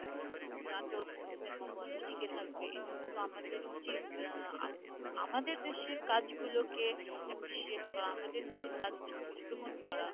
নাটক, cinema বলো টিকে থাকবে এজন্য তো আমাদের উচিত আহ আম~ আমাদের দেশের কাজগুলোকে appreciate করা আমাদের দেশের কাজগুলোকে গ্রহণ করা